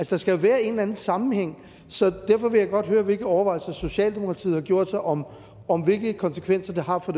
der skal jo være en eller anden sammenhæng så derfor vil jeg godt høre hvilke overvejelser socialdemokratiet har gjort sig om om hvilke konsekvenser det har for